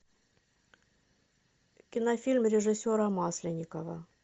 кинофильм режиссера масленникова